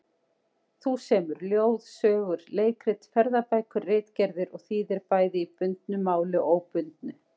Þú semur ljóð, sögur, leikrit, ferðabækur, ritgerðir og þýðir bæði í bundnu máli og óbundnu.